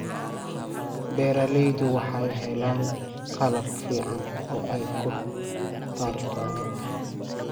Beeraleydu waxay helaan qalab fiican oo ay ku taranta.